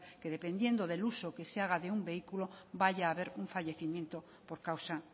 que dependiendo del uso que se haga de un vehículo vaya a haber un fallecimiento por causa